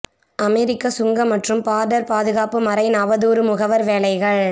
அமெரிக்க சுங்க மற்றும் பார்டர் பாதுகாப்பு மரைன் அவதூறு முகவர் வேலைகள்